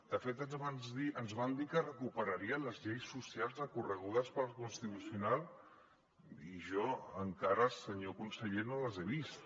de fet ens van dir que recuperarien les lleis socials recorregudes pel constitucional i jo encara senyor conseller no les he vist